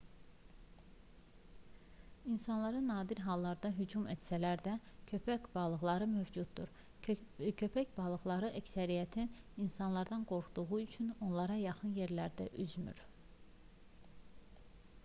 i̇nsanlara nadir hallarda hücum etsələr də köpəkbalıqları mövcuddur. köpəkbalıqlarının əksəriyyəti insanlardan qorxduqları üçün onlara yaxın yerlərdə üzmür